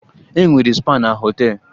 Ee, enwere spa na họtel.